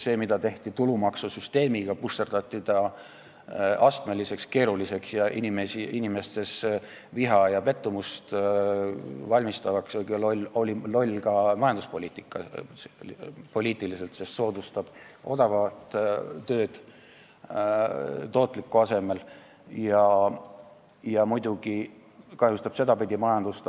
See, mida tehti tulumaksusüsteemiga – susserdati ta astmeliseks ja keeruliseks, mis inimestele viha ja pettumust valmistas –, oli loll ka majanduspoliitiliselt, sest see soodustab odavat tööd tootliku asemel ja muidugi kahjustab sedapidi majandust.